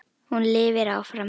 Hún lifir áfram.